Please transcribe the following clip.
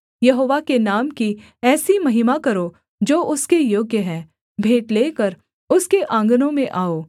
यहोवा के नाम की ऐसी महिमा करो जो उसके योग्य है भेंट लेकर उसके आँगनों में आओ